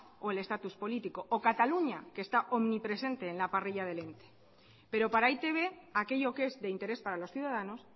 o el estatus político o cataluña que está omnipresente en la parrilla del ente pero para e i te be aquello que es de interés para los ciudadanos